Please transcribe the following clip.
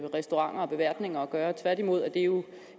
restauranter og beværtninger gøre tværtimod er det jo